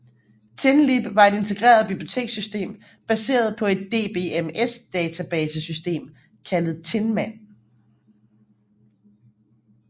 Tinlib var et integreret bibliotekssystem baseret på et DBMS database system kaldet Tinman